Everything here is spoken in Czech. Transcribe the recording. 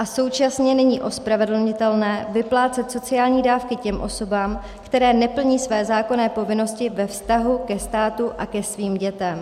A současně není ospravedlnitelné vyplácet sociální dávky těm osobám, které neplní své zákonné povinnosti ve vztahu ke státu a ke svým dětem.